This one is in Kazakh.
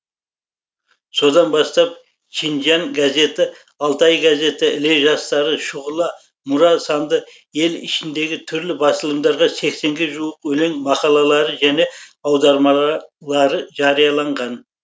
содан бастап шинжяң газеті алтай газеті іле жастары шұғыла мұра санды ел ішіндегі түрлі басылымдарға сексенге жуық өлеңі мақалалары және аудармалары жарияланған